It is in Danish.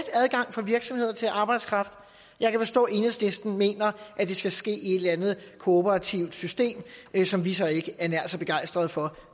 adgang for virksomhederne til at få arbejdskraft og jeg kan forstå at enhedslisten mener at det skal ske i et eller andet kooperativt system som vi så ikke er nær så begejstrede for